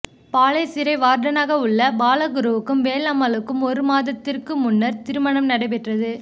பாளை சிறை வார்டனாக உள்ள பாலகுருவுக்கும் வேலம்மாளுக்கும் ஒரு மாதத்துக்கு முன்னர் திருமணம் நடைபெற்றது